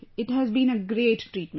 It has been a great treatment